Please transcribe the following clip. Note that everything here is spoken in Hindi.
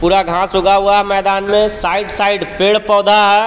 पूरा घास उगा हुआ है मैदान में साइड साइड पेड़ पौधा है।